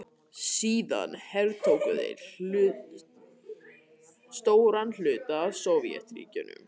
Síðan hertóku þeir stóran hluta af Sovétríkjunum.